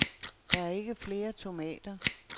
Der er ikke flere tomater.